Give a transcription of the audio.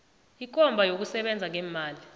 ikomba yokusekela ngeemali